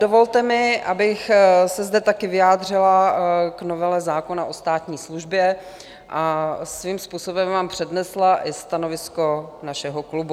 Dovolte mi, abych se zde také vyjádřila k novele zákona o státní službě a svým způsobem vám přednesla i stanovisko našeho klubu.